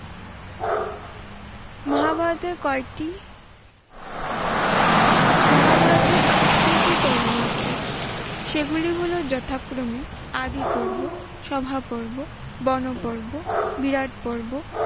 মহাভারতের কয়েকটি মহাভারতের আঠারোটি পর্ব আছে। সেগুলি হল যথাক্রমে আদি পর্ব, সভা পর্ব, বন পর্ব, বিরাট পর্ব,